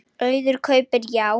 Auður kaupir Já